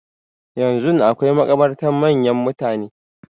Yanzun akwai makabartan manyan mutane.